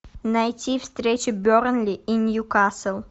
найти встречу бернли и ньюкасл